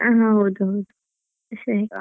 ಹಾ ಹೌದು ಸರಿ.